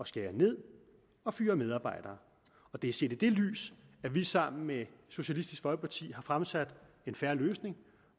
skære ned og fyre medarbejdere det er set i det lys at vi sammen med socialistisk folkeparti har fremsat en fair løsning